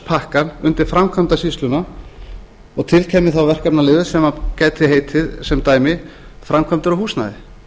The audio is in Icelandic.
húsnæðispakkann undir framkvæmdasýslu og til kæmi þá verkefnaliður sem gæti heitið sem dæmi framkvæmdir og húsnæði